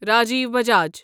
Raju Bajaj